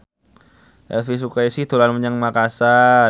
Elvi Sukaesih dolan menyang Makasar